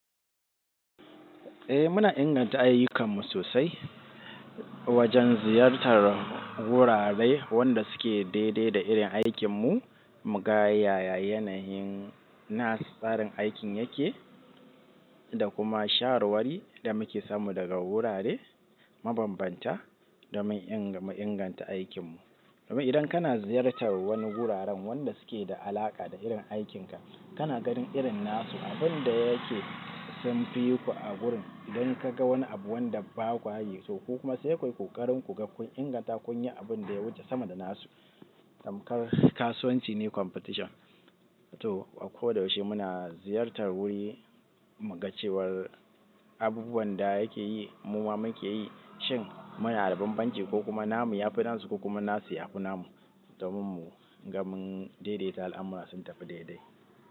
Eh muna inganta ayyukanmu sosai wajen ziyartar wurare wanda suke daidai da irin aikinmu, mu ga yaya yanayin nasu tsarin aikin yake da kuma shawarwari da muke samu daga wurare mabambanta domin inga mu inganta aikin mu. Idan kana ziyartar wani wuraren wanda suke da alaƙa da irin aikinka, kana ganin irin nasu abin da yake sun fiku a wurin. Idan kaga wani abu wanda bakwa yi so ku kuma sai kuyi ƙoƙarin kun inganta kunyi abun da ya wuce sama da nasu. Tamkar kasuwanci ne competition. To a ko da yaushe muna ziyartar wuri, mu ga cewar abubuwan da yake yi mu ma muke yi, shin muna da bambanci ko kuma namu ya fi nasu ko kuma nasi ya fi namu domin mu ga mun daidaita al'amura sun tafi daidai.